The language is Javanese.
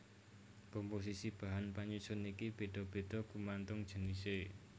Komposisi bahan panyusun iki béda béda gumantung jenisé